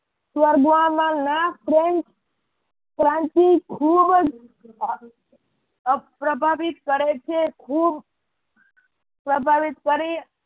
સ્વર્ગવામાં ના પ્રેમ ક્રાંતિ ખુબ જ પ્રભાવિત કરે છે. ખુબ પ્રભાવિત કરી